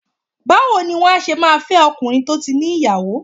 Báwo ni wà á ṣe máa fẹ́ ọkùnrin tó ti ní ìyàwó?